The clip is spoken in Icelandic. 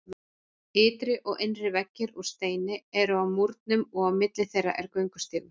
Ytri og innri veggir úr steini eru á múrnum og á milli þeirra er göngustígur.